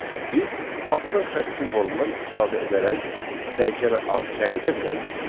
Biz altdan xətt simvolundan istifadə edərək dəyişənə ad təyin edə bilərik.